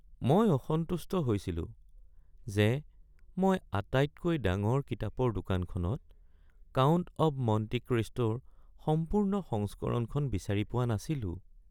মই অসন্তুষ্ট হৈছিলো যে মই আটাইতকৈ ডাঙৰ কিতাপৰ দোকানখনত "কাউণ্ট অৱ মণ্টি ক্ৰিষ্টো"ৰ সম্পূৰ্ণ সংস্কৰণখন বিচাৰি পোৱা নাছিলো।